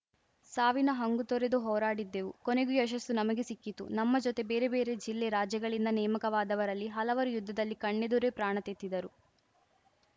ಸಾವಿನ ಹಂಗು ತೊರೆದು ಹೋರಾಡಿದ್ದೆವು ಕೊನೆಗೂ ಯಶಸ್ಸು ನಮಗೇ ಸಿಕ್ಕಿತು ನಮ್ಮ ಜೊತೆ ಬೇರೆ ಬೇರೆ ಜಿಲ್ಲೆ ರಾಜ್ಯಗಳಿಂದ ನೇಮಕವಾದವರಲ್ಲಿ ಹಲವರು ಯುದ್ಧದಲ್ಲಿ ಕಣ್ಣೆದುರೇ ಪ್ರಾಣತೆತ್ತಿದ್ದರು